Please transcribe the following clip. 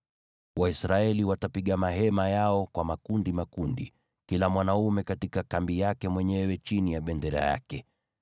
Waisraeli watapiga mahema yao kwa makundi makundi, kila mwanaume katika kambi yake mwenyewe chini ya bendera yake.